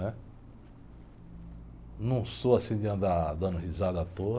Né? Não sou assim de andar dando risada à toa.